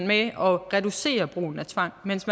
med at reducere brugen af tvang mens